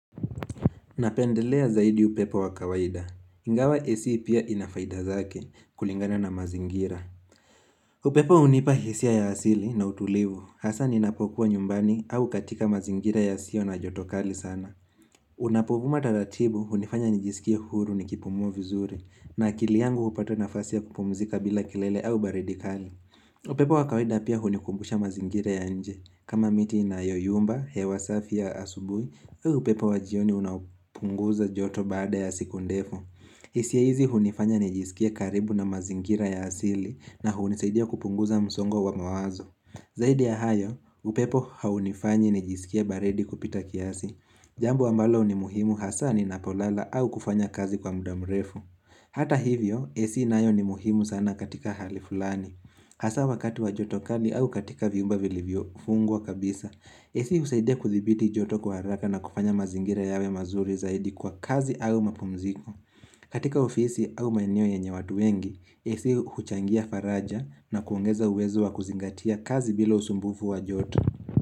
Napendelea zaidi upepo wa kawaida. Ingawa AC pia inafaidazake kulingana na mazingira. Upepo unipa hisia ya asili na utulivu. Hasa ninapokuwa nyumbani au katika mazingira ya sio na joto kali sana. Unapovuma taratibu unifanya nejisikia huru ni kipumua vizuri na akili yangu upata na fasi ya kupumzika bila kilele au baridi kali. Upepo wa kawida pia hunikumbusha mazingira ya nje kama miti inayoyumba, hewa safi ya asubuhi upepo wajioni unapunguza joto baada ya siku ndefu hisia hizi hunifanya nijisikia karibu na mazingira ya asili na huniseidia kupunguza msongo wa mawazo Zaidi ya hayo, upepo haunifanyi nijisikie baradi kupita kiasi Jambo ambalo ni muhimu hasa ninapolala au kufanya kazi kwa muda mrefu Hata hivyo, AC nayo ni muhimu sana katika hali fulani Hasa wakati wa joto kali au katika viumba vilivyofungwa kabisa. AC husaidia kuthibiti joto kwa haraka na kufanya mazingira yawe mazuri zaidi kwa kazi au mapumziko. Katika ofisi au maeneo yenye watu wengi, AC huchangia faraja na kuongeza uwezo wa kuzingatia kazi bila usumbufu wa joto.